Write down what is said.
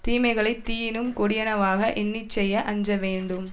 தீமைகளைத் தீயினும் கொடியனவாக எண்ணி செய்ய அஞ்ச வேண்டும்